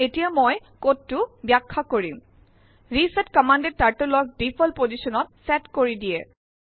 এতিয়া মই কোডটো ব্যাখ্যা কৰিম । ৰিছেট কম্মান্দএ Turtleক ডিফল্ট পজিছনত চেত কৰি দিয়ে